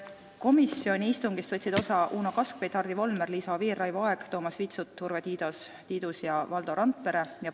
Komisjoni istungist võtsid osa Uno Kaskpeit, Hardi Volmer, Liisa Oviir, Raivo Aeg, Toomas Vitsut, Urve Tiidus ja Valdo Randpere.